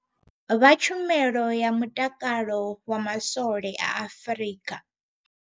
Vha tshumelo ya mutakalo wa maswole a Afrika.